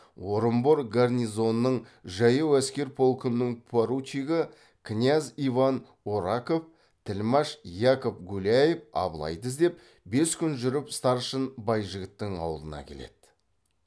орынбор гарнизонының жаяу әскер полкының поручигі князь иван ораков тілмаш яков гуляев абылайды іздеп бес күн жүріп старшын байжігіттің ауылына келеді